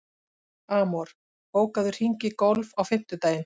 Amor, bókaðu hring í golf á fimmtudaginn.